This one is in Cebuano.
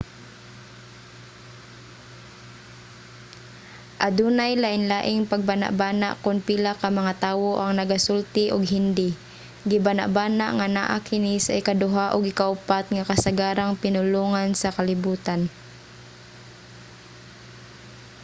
adunay lainlaing pagbanabana kon pila ka mga tawo ang nagasulti og hindi. gibanabana nga naa kini sa ikaduha ug ikaupat nga kasagarang pinulongan sa kalibutan